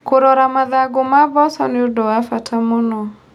Kũrora mathangũ ma mboco nĩũndũ wa bata mũno.